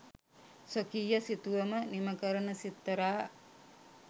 ස්වකීය සිතුවම නිම කරන සිත්තරා